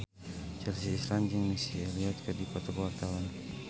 Chelsea Islan jeung Missy Elliott keur dipoto ku wartawan